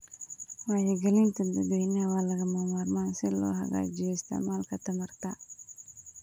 Wacyigelinta dadweynaha waa lagama maarmaan si loo hagaajiyo isticmaalka tamarta.